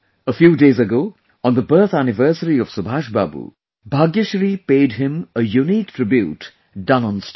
A few days ago, on the birth anniversary of Subhash Babu, Bhagyashree paid him a unique tribute done on stone